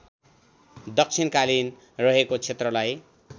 दक्षिणकाली रहेको क्षेत्रलाई